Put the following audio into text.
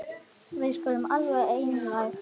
Við skulum vera alveg einlæg.